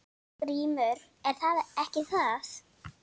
GRÍMUR: Ekki það?